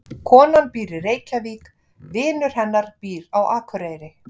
Konan býr í Reykjavík. Vinur hennar býr á Akureyri.